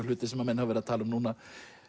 hluti sem menn hafa verið að tala um núna